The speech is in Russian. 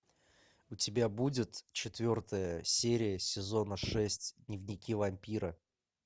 у тебя будет четвертая серия сезона шесть дневники вампира